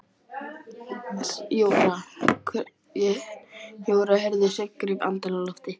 Jóra heyrði að Sveinn greip andann á lofti.